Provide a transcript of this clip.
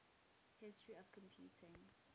history of computing